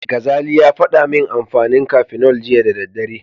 Gazali ya faɗa min amfanin Cafenol jiya da daddare.